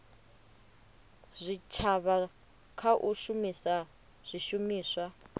zwitshavha kha u shumisa zwishumiswa